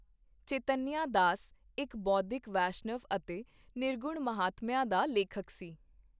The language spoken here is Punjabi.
ਚੈਤੰਨਿਆ ਦਾਸ ਇੱਕ ਬੋਧੀ ਵੈਸ਼ਨਵ ਅਤੇ ਨਿਰਗੁਣ ਮਹਾਤਮਿਆ ਦਾ ਲੇਖਕ ਸੀ।